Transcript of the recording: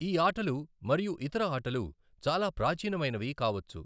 ఈ ఆటలు మరియు ఇతర ఆటలు చాలా ప్రాచీనమైనవి కావచ్చు.